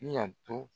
Bi yanto